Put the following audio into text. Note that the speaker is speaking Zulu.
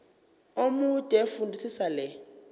omude fundisisa le